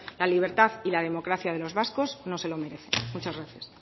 la libertad y la democracia de los vascos no se lo merecen muchas gracias